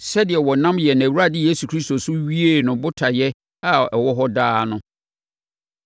sɛdeɛ ɔnam yɛn Awurade Kristo Yesu so wiee ne botaeɛ a ɛwɔ hɔ daa no.